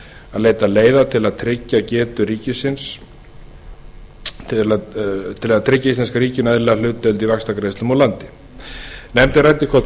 að leita leiða sem tryggt geta íslenska ríkinu eðlilega hlutdeild í vaxtagreiðslum úr landi nefndin ræddi hvort